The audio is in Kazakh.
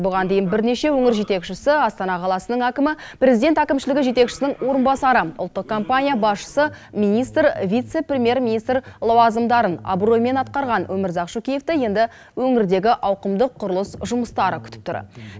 бұған дейін бірнеше өңір жетекшісі астана қаласының әкімі президент әкімшілігі жетекшісінің орынбасары ұлттық компания басшысы министр вице премьер министр лауазымдарын абыроймен атқарған өмірзақ шөкеевты енді өңірдегі ауқымдық құрылыс жұмыстары күтіп тұр